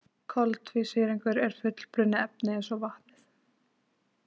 Koltvísýringurinn er fullbrunnið efni eins og vatnið.